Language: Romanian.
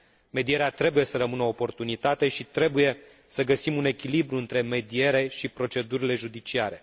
medierea trebuie să rămână o oportunitate și trebuie să găsim un echilibru între mediere și procedurile judiciare.